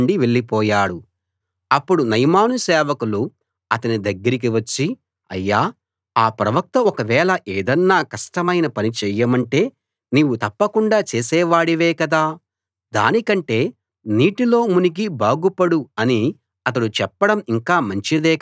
అప్పుడు నయమాను సేవకులు అతని దగ్గరికి వచ్చి అయ్యా ఆ ప్రవక్త ఒకవేళ ఏదన్నా కష్టమైన పని చేయమంటే నీవు తప్పకుండా చేసే వాడివే కదా దానికంటే నీటిలో మునిగి బాగు పడు అని అతడు చెప్పడం ఇంకా మంచిదే కదా అన్నారు